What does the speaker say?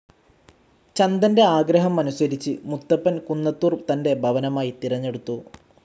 ചന്ദന്റെ ആഗ്രഹം അനുസരിച്ച് മുത്തപ്പൻ കുന്നത്തൂർ തന്റെ ഭവനമായി തിരഞ്ഞെടുത്തു.